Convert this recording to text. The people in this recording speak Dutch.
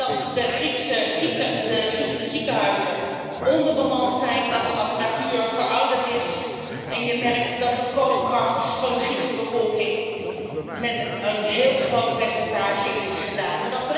Je merkt dat de Griekse ziekenhuizen onderbemand zijn, dat de apparatuur verouderd is en dat de koopkracht van de Griekse bevolking met een heel groot percentage is gedaald.